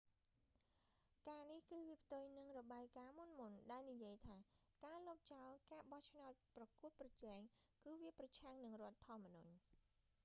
ការនេះ គឺវាផ្ទុយនឹងរបាយការណ៍មុនៗ ដែលនិយាយថាការលុបចោលការបោះឆ្នោតប្រកួតប្រជែងគឺវាប្រឆាំងនឹងរដ្ឋធម្មនុញ្ញ